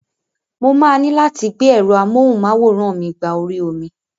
Mo máa ní láti gbé ẹ̀rọ amọ́hùn-máwòrán mí gba orí omi.